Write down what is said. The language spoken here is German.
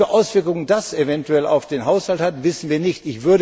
Was für Auswirkungen das eventuell auf den Haushalt hat, wissen wir nicht.